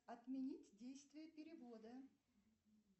отменить действие перевода